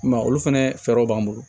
I m'a ye olu fɛnɛ fɛɛrɛw b'an bolo